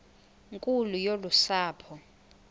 nkulu yolu sapho